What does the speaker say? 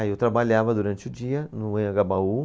Aí eu trabalhava durante o dia no Anhangabaú.